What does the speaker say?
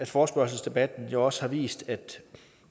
forespørgselsdebatten også har vist at